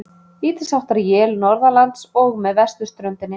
Lítilsháttar él norðanlands og með vesturströndinni